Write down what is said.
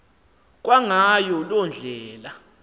kwangayo loo ndlela